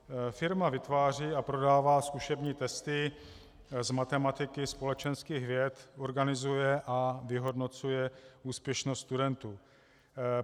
Firma vytváří a prodává zkušební testy z matematiky, společenských věd, organizuje a vyhodnocuje úspěšnost studentů.